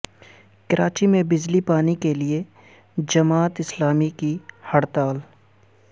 کراچی میں بجلی پانی کے لیے جماعت اسلامی کی ہڑتال